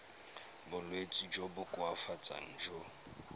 bolwetsi jo bo koafatsang jo